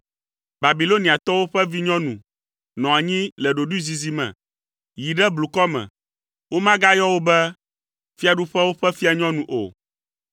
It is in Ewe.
“Babiloniatɔwo ƒe vinyɔnu nɔ anyi le ɖoɖoezizi me. Yi ɖe blukɔ me. Womagayɔ wò be, Fiaɖuƒewo ƒe fianyɔnu o.